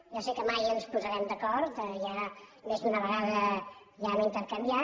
ja sé que mai ens posarem d’acord més d’una vegada ja hem intercanviat